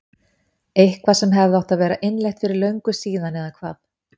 Eitthvað sem hefði átt að vera innleitt fyrir löngu síðan eða hvað?